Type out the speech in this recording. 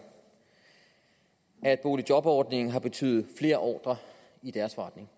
at boligjobordningen har betydet flere ordrer i deres forretning